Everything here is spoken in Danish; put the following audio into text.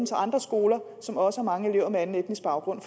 til andre skoler som også har mange elever med anden etnisk baggrund